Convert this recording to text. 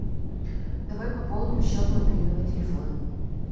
давай пополним счет мобильного телефона